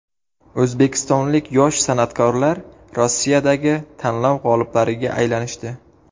O‘zbekistonlik yosh san’atkorlar Rossiyadagi tanlov g‘oliblariga aylanishdi.